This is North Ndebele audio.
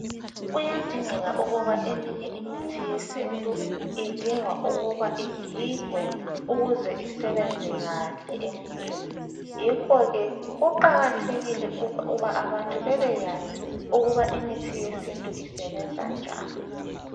Kuyadingeka ukuba eminye imithi yesintu idinga ukuba igigwe ukuze isebenze kahle emuntwini yikho ke kuqakathekile ukuthi abantu bebekwazi ukuba imithi yesintu isebenza njani.